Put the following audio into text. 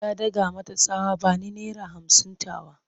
Ya daka mata tsawa "Bani naira hamsin tawa!"